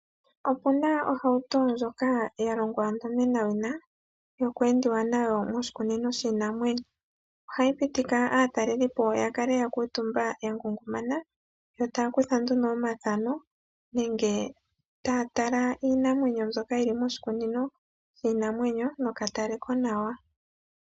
Opuna ohauto ndjoka yalongwa ontomenawina yoku endiwa nayo moshikunino shiinanwenyo. ohayi pitike aatalelipo yakale ya kuutumba ya ngungana taya kutha nduno omathano ngele tayatala iinamwenyo mbyoka yili moshikunino shiinanwenyo nokatale konawa .